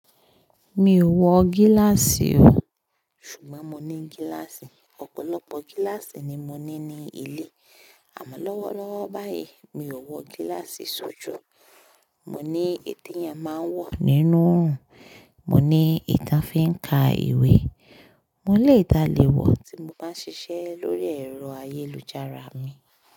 Mi ò wọ gíláàsì o. Ṣùgbọ́n mo ní gíláàsì. Ọ̀pọ̀lọpọ̀ gíláàsì ni mo ní ní ilé. Àmọ́ lọ́wọ́lọ́wọ́ báyìí, mi ò wọ gíláàsì sójú. Mo ní èyí tí ẹ máa ń wọ nínú òrùn, mo ní èyí tán fíń ka ìwé, mo lè tálè wọ̀ tí mo bá ń ṣiṣẹ́ lórí ẹ̀rọ ayélujára mi.